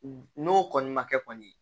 N'o kɔni ma kɛ kɔni